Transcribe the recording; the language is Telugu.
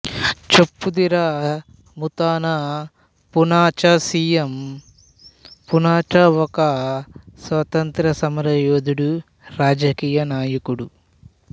చెప్పుదిర ముతన పూనాచా సి ఎం పూనాచా ఒక స్వాతంత్య్ర సమరయోధుడు రాజకీయ నాయకుడు